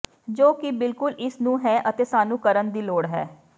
ਜੋ ਕਿ ਬਿਲਕੁਲ ਇਸ ਨੂੰ ਹੈ ਅਤੇ ਸਾਨੂੰ ਕਰਨ ਦੀ ਲੋੜ ਹੈ